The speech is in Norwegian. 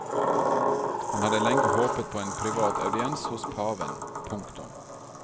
Han hadde lenge håpet på en privat audiens hos paven. punktum